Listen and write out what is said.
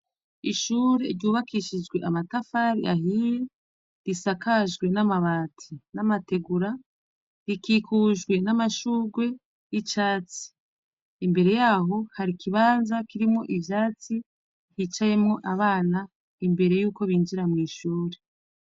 Ishure ryubakishijwe amatafari ahiye risakajwe namabati namategura rikikujwe namashurwe yicatsi imbere yaho harikibanza kirimwo ivyatsi cicayemwo abana imbere yuko binjira mwishure